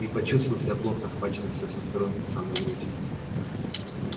и почувствовал себя плотно охваченным со всех сторон по самую грудь